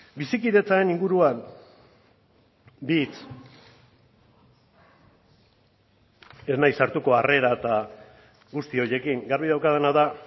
bizikidetzaren inguruan bi hitz ez naiz sartuko harrera eta guzti horiekin garbi daukadana da